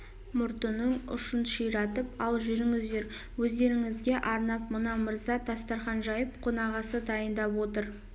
мұртының ұшын ширатып ал жүріңіздер өздеріңізге арнап мына мырза дастарқан жайып қонақасы дайындап отыр